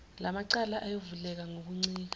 lamacala ayovuleka ngokuncika